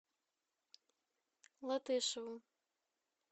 латышеву